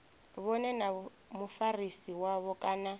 vhone na mufarisi wavho kana